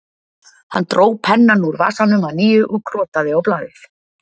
Hann dró pennann úr vasanum að nýju og krotaði á blaðið